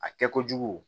A kɛ kojugu